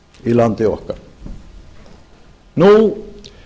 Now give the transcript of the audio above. í landi okkar nú